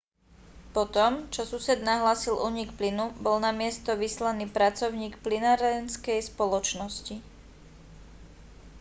po tom čo sused nahlásil únik plynu bol na miesto vyslaný pracovník plynárenskej spoločnosti